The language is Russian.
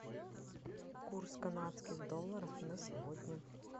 курс канадских долларов на сегодня